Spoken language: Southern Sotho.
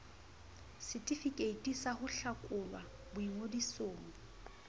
setefikeiti sa ho hlakolwa boingodisong